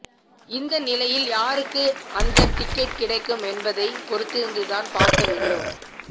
இந்த நிலையில் யாருக்கு அந்த டிக்கெட் கிடைக்கும் என்பதை பொறுத்திருந்துதான் பார்க்க வேண்டும்